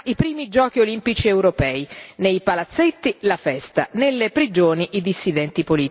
i primi giochi olimpici europei. Nei palazzetti la festa, nelle prigioni i dissidenti politici.